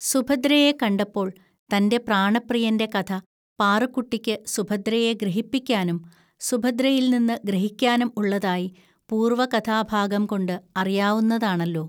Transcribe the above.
സുഭദ്രയെ കണ്ടപ്പോൾ തന്റെ പ്രാണപ്രിയന്റെ കഥ പാറുക്കുട്ടിക്ക് സുഭദ്രയെ ഗ്രഹിപ്പിക്കാനും സുഭദ്രയിൽനിന്ന് ഗ്രഹിക്കാനും ഉള്ളതായി പൂർവ്വകഥാഭാഗംകൊണ്ട് അറിയാവുന്നതാണല്ലോ